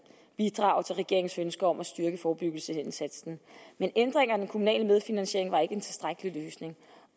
bidrage til regeringens ønske om at styrke forebyggelsesindsatsen men ændringerne kommunale medfinansiering var ikke en tilstrækkelig løsning